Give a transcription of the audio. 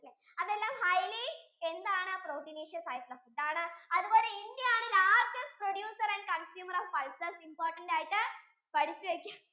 അതെല്ലാം highly എന്താണ് proteniaceous ആയിട്ടുള്ള food ആണ്, അതുപോലെ India ആണ് Largest producer and consumer of pulses important ആയിട്ടു പഠിച്ചു വെക്ക